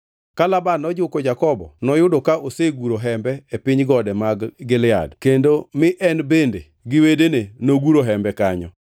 Ka Laban nojuko Jakobo noyudo ka oseguro hembe e piny gode mag Gilead kendo mi en bende gi wedene noguro hembe kanyo.